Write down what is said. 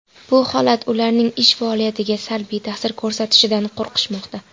Bu holat ularning ish faoliyatiga salbiy ta’sir ko‘rsatishidan qo‘rqishmoqda.